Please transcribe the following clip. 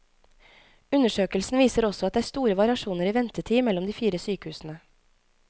Undersøkelsen viser også at det er store variasjoner i ventetid mellom de fire sykehusene.